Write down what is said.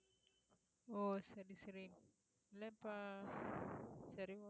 ஓ சரி சரி இல்ல இப்ப சரி okay